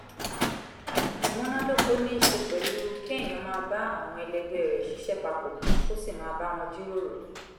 ìmúnádóko ní í ṣe pẹ̀lú kéèyàn máa bá àwọn ẹlẹgbẹ́ rẹ ṣiṣẹ́ papọ̀ kó sì máa bá wọn jíròrò